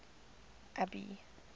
abby